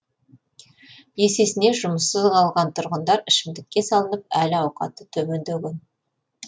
есесіне жұмыссыз қалған тұрғындар ішімдікке салынып әл ауқаты төмендеген